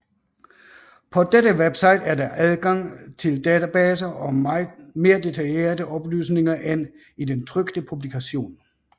På dette website er der adgang til databaser og mere detaljerede oplysninger end i den trykte publikation